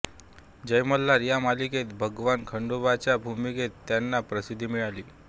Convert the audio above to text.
जय मल्हार या मालिकेत भगवान खंडोबाच्या भूमिकेतून त्यांना प्रसिद्धी मिळाली